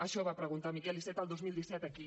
això va preguntar miquel iceta el dos mil disset aquí